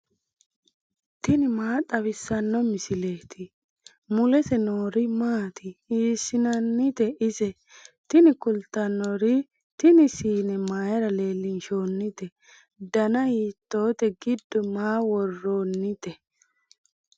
tini maa xawissanno misileeti ? mulese noori maati ? hiissinannite ise ? tini kultannori tini siine mayra leellinshoonnite dana hiitoote giddo maa worrannite